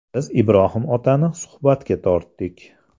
Biz Ibrohim otani suhbatga tortdik.